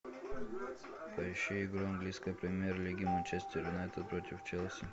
поищи игру английской премьер лиги манчестер юнайтед против челси